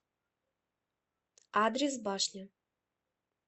адрес башня